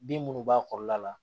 Bin minnu b'a kɔrɔ la